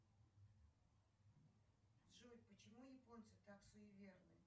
джой почему японцы так суеверны